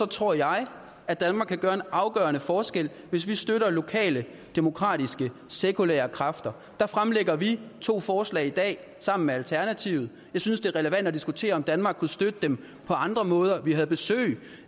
tror jeg at danmark kan gøre en afgørende forskel hvis vi støtter lokale demokratiske sekulære kræfter der fremlægger vi to forslag i dag sammen med alternativet jeg synes det er relevant at diskutere om danmark kunne støtte dem på andre måder vi havde besøg